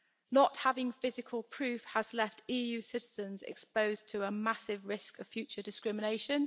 Not having physical proof has left EU citizens exposed to a massive risk of future discrimination.